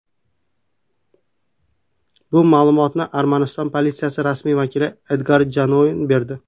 Bu ma’lumotni Armaniston politsiyasi rasmiy vakili Edgar Janoyan berdi.